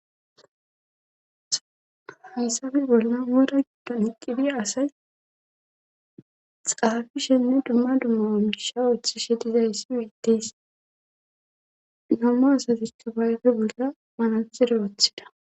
Hisabe bolnan wora giddon iqqibia asay xaafishenne dumma dumma on isha uoththishe dizayssi wuittes namma asatikka bayfe bolla manaxiro woththida.